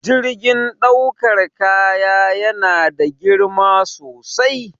Jirgin ɗaukar kaya yana da girma sosai